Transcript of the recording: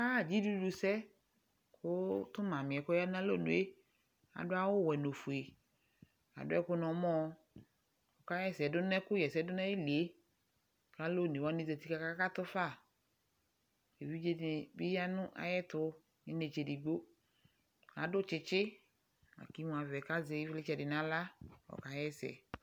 Aɣa dzidʋdʋsɛ, kʋ tʋ Mami yɛ kɔya n'alɔnu yɛ adʋ awʋ wɛ n'ofuɛ Adʋ ɛkʋ n'mɔ, kakaɣɛsɛ dʋ n'ɛkʋ ɣɛsɛ dʋ n'ayili yɛ, k'alʋ onewanɩ zati k'akakatu fa Evidze dɩnɩ bɩ ya nʋ ayɛtʋ n'inetse edigbo, adʋ tsɩtsɩ kimu avɛ k,azɛ ɩvlɩtsɛ dɩ n'aɣla, ɔkaɣɛsɛ